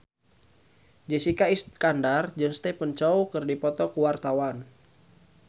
Jessica Iskandar jeung Stephen Chow keur dipoto ku wartawan